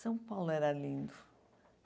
São Paulo era lindo.